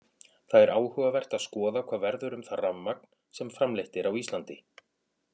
Það er áhugavert að skoða hvað verður um það rafmagn sem framleitt er á Íslandi.